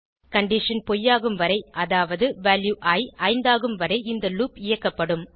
condition பொய்யாகும் வரை அதாவது வேரியபிள் இ 5 ஆகும் வரை இந்த லூப் இயக்கப்படும்